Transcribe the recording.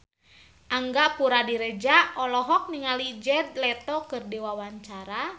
Angga Puradiredja olohok ningali Jared Leto keur diwawancara